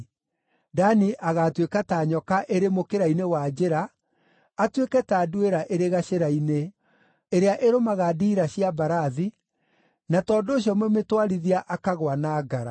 Dani agaatuĩka ta nyoka ĩrĩ mũkĩra-inĩ wa njĩra, atuĩke ta nduĩra ĩrĩ gacĩra-inĩ, ĩrĩa ĩrũmaga ndiira cia mbarathi, na tondũ ũcio mũmĩtwarithia akagũa na ngara.